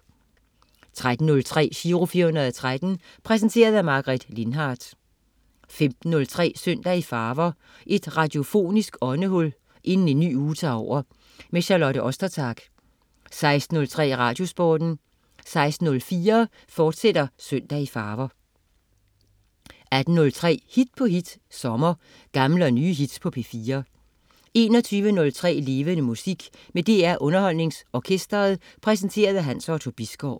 13.03 Giro 413. Præsenteret af Margaret Lindhardt 15.03 Søndag i farver. Et radiofonisk åndehul inden en ny uge tager over. Charlotte Ostertag 16.03 Radiosporten 16.04 Søndag i farver, fortsat 18.03 Hit på hit. Sommer. Gamle og nye hits på P4 21.03 Levende Musik. Med DR UnderholdningsOrkestret. Præsenteret af Hans Otto Bisgaard